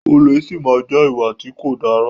Olè si máa má jẹ́ ìwà tí kò dára.